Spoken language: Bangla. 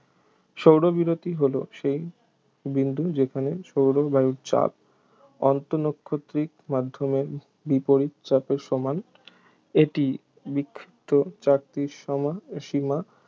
সৌরবিরতি হল সেই বিন্দু যেখানে সৌর বায়ুর চাপ আন্তঃনাক্ষত্রিক মাধ্যমে বিপরীত চাপের সমান এটি বিক্ষিপ্ত চাকতির সমান সীমা